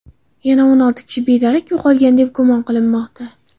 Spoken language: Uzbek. Yana olti kishi bedarak yo‘qolgan, deb gumon qilinmoqda.